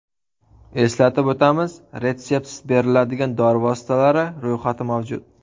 Eslatib o‘tamiz, Retseptsiz beriladigan dori vositalari ro‘yxati mavjud.